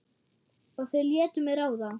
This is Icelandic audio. Og þau létu mig ráða.